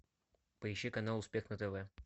поищи канал успех на тв